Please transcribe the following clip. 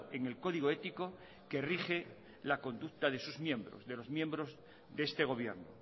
en el código ético que rige la conducta de sus miembros de los miembros de este gobierno